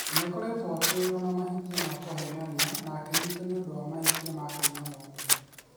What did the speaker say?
Ni͂ aakoretwo atui͂ri͂o na mahati͂a ma ku͂heenania na aki͂nyitwo ni͂ u͂ndu͂ wa mahati͂a ma ku͂iya mu͂ndu͂.